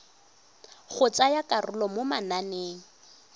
go tsaya karolo mo mananeng